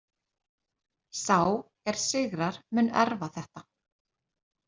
Sá er sigrar mun erfa þetta.